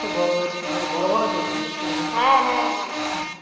বড় হয়েছিল বড় বড় পেঁপে হয়েছিল